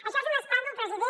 això és un escàndol president